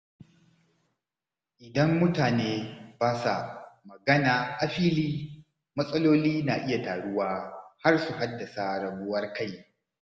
Idan mutane ba sa magana a fili, matsaloli na iya taruwa har su haddasa rabuwar kai.